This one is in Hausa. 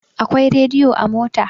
Akwai rediyo a mota.